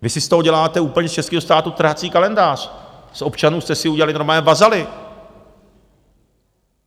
Vy si z toho děláte úplně, z českého státu, trhací kalendář, z občanů jste si udělali normálně vazaly.